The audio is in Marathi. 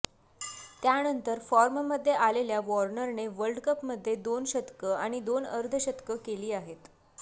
त्यानंतर फॉर्ममध्ये आलेल्या वॉर्नरने वर्ल्ड कपमध्ये दोन शतकं आणि दोन अर्धशतकं केली आहेत